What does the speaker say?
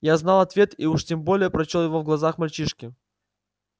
я знал ответ и уж тем более прочёл его в глазах мальчишки